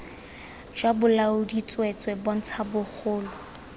jwa bolaodi tsweetswee bontsha mogolo